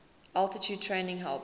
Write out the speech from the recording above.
altitude training helped